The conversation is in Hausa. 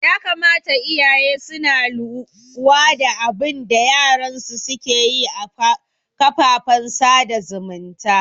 Ya kamata iyaye suna luwa da abinda yaran su suke yi a kafafen sada zumunta